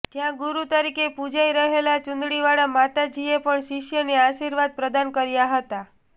જ્યાં ગુરૂ તરીકે પુજાઇ રહેલાં ચુંદડીવાળા માતાજીએ પણ શિષ્યને આશીર્વાદ પ્રદાન કર્યા હતા